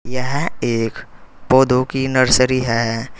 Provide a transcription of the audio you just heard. यह एक पौधों की नर्सरी है।